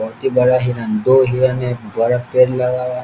बहुत ही बड़ा हिरण दो हिरण है बड़ा पेड़ लगा हुआ --